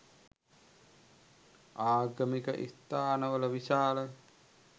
ආගමික ස්ථාන වල විශාල